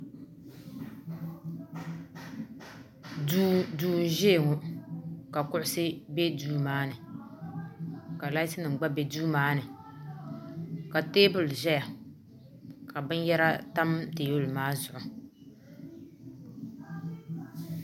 duu ni ʒɛya ŋɔ ka kuɣusi ʒɛ duu maa ni ka lais nim gba bɛ duu maa ni ka teebuli ʒɛya ka binyɛra tam teebuli maa zuɣu